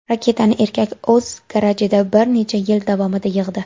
Raketani erkak o‘z garajida bir necha yil davomida yig‘di.